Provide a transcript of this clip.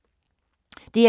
DR2